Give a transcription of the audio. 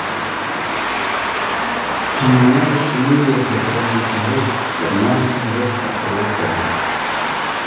Xannaanada shinnidu waxay u baahan tahay isticmaalka hababka ugu fiican.